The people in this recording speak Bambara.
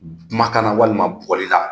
Kuma kan na walima bɔli la,